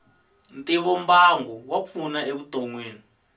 ntivombangu wa pfuna e vutomini